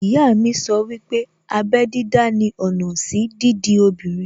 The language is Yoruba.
Ìyá mi sọ wípé abẹ́ dídá ni ọ̀nà sí dídi obìnrin